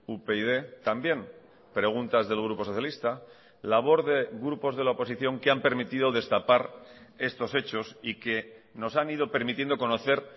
upyd también preguntas del grupo socialista labor de grupos de la oposición que han permitido destapar estos hechos y que nos han ido permitiendo conocer